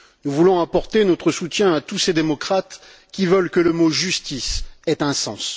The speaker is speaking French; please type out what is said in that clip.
Nous voulons apporter notre soutien à tous ces démocrates qui veulent que le mot justice ait un sens.